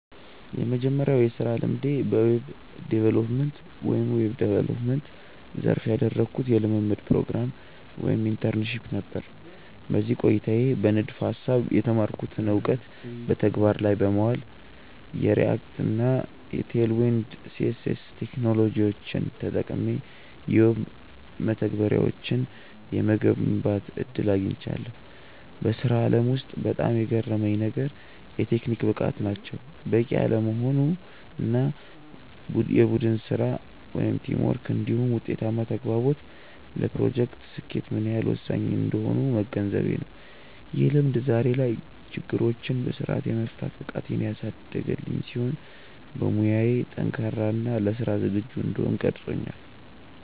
የመጀመሪያው የሥራ ልምዴ በዌብ ዲቨሎፕመንት (Web Development) ዘርፍ ያደረግኩት የልምምድ ፕሮግራም (Internship) ነበር። በዚህ ቆይታዬ በንድፈ-ሐሳብ የተማርኩትን እውቀት በተግባር ላይ በማዋል፣ የReact እና Tailwind CSS ቴክኖሎጂዎችን ተጠቅሜ የዌብ መተግበሪያዎችን የመገንባት ዕድል አግኝቻለሁ። በሥራው ዓለም ውስጥ በጣም የገረመኝ ነገር፣ የቴክኒክ ብቃት ብቻውን በቂ አለመሆኑ እና የቡድን ሥራ (Teamwork) እንዲሁም ውጤታማ ተግባቦት ለፕሮጀክቶች ስኬት ምን ያህል ወሳኝ እንደሆኑ መገንዘቤ ነው። ይህ ልምድ ዛሬ ላይ ችግሮችን በሥርዓት የመፍታት ብቃቴን ያሳደገልኝ ሲሆን፣ በሙያዬ ጠንካራ እና ለሥራ ዝግጁ እንድሆን ቀርጾኛል።